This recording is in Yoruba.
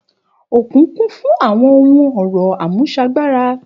Òkun kún fún àwọn ohun ọrọ àmúsagbára